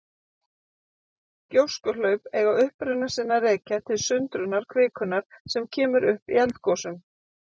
Gjóskuhlaup eiga uppruna sinn að rekja til sundrunar kvikunnar sem upp kemur í eldgosum.